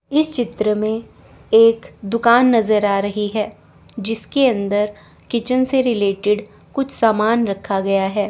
इस चित्र में एक दुकान नजर आ रही है जिसके अंदर किचन से रिलेटेड कुछ सामान रखा गया है।